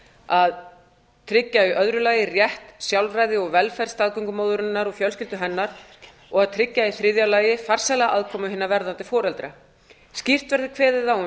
að tryggja í öðru lagi rétt sjálfræði og velferð staðgöngumóðurinnar og fjölskyldu hennar og að tryggja í þriðja lagi farsæla aðkomu hinna verðandi foreldra skýrt verði kveðið á um